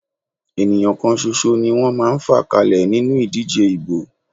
Ènìyàn kan ṣoṣo ni wọ́n máa ń fà kalẹ̀ nínú ìdíje ìbò.